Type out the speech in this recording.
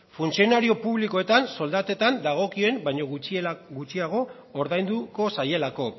funtzionario publikoetan soldatetan dagokien baino gutxiago ordainduko zaielako